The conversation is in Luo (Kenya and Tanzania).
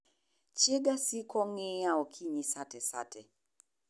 Chiega siko ng'iya okonyi sate sate .